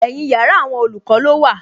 Ẹ̀yin yàrá àwọn olùkọ́ ló wà